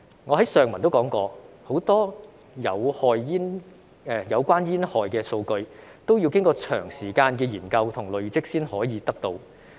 我在上文也提到，很多有關煙害的數據，均需要經過長時間的研究和累積才可以得到。